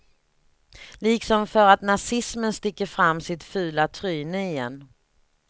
Liksom för att nazismen sticker fram sitt fula tryne igen.